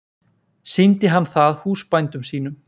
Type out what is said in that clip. Sýndi hann það húsbændum sínum.